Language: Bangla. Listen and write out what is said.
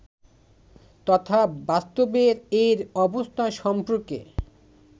তথা বাস্তবে এর অবস্থা সম্পর্কে